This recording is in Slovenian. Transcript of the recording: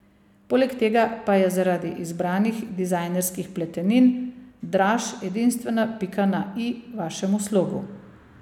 Poleg tega pa je zaradi izbranih dizajnerskih pletenin Draž edinstvena pika na i vašemu slogu.